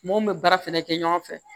Mun bɛ baara fɛnɛ kɛ ɲɔgɔn fɛ